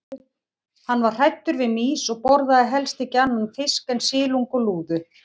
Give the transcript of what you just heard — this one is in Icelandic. Hann var hræddur við mýs og borðaði helst ekki annan fisk en silung og lúðu.